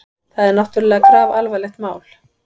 Þetta er náttúrlega grafalvarlegt mál.